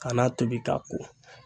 K'a n'a tobi k'a ko.